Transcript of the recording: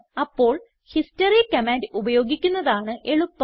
അപ്പോൾ history command ഉപയോഗിക്കുന്നതാണ് എളുപ്പം